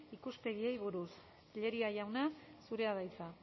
ikuspegiei buruz tellería jauna zurea da hitza